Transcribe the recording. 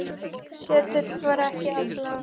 Ketill var ekki allra.